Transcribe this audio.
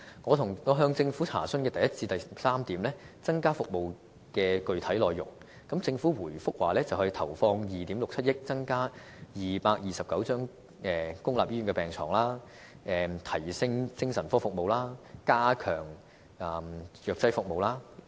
我向政府查詢第一點至第三點增加服務的具體內容時，政府回覆說會投放2億 6,700 萬元，增加229張公立醫院病床；提升精神科服務；以及加強藥劑服務。